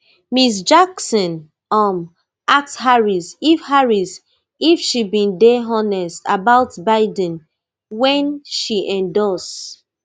ms jackson um ask harris if harris if she bin dey honest about biden wen she endorse